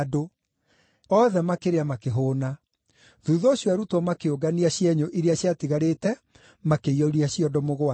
Othe makĩrĩa makĩhũũna. Thuutha ũcio arutwo makĩũngania cienyũ iria ciatigarĩte makĩiyũria ciondo mũgwanja.